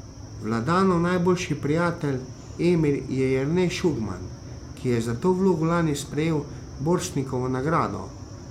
Vladanov najboljši prijatelj Emir je Jernej Šugman, ki je za to vlogo lani sprejel Borštnikovo nagrado.